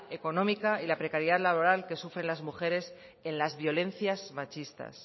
económica y la precariedad laboral que sufren las mujeres en las violencias machistas